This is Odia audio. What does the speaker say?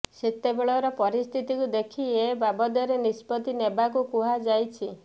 ସେତେବେଳର ପରିସ୍ଥିତିକୁ ଦେଖି ଏ ବାବଦରେ ନିଷ୍ପତ୍ତି ନେବାକୁ କୁହାଯାଇଛି